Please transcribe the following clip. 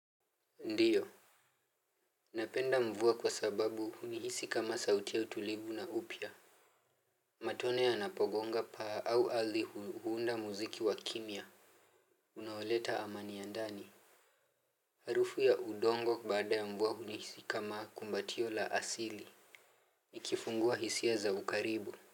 Ndiyo. Napenda mvua kwa sababu hunihisi kama sauti ya utulivu na upya. Matone yanapogonga paa au ardhi hu huunda muziki wa kimya unaoleta amani ya ndani. Harufu ya udongo baada ya mvua hunihisi kama kumbatio la asili. Nikifungua hisia za ukaribu.